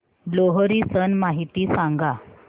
लोहरी सण माहिती सांगा